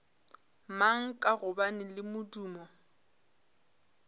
mang ka gobane le modumo